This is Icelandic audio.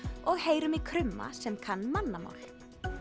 og heyrum í krumma sem kann mannamál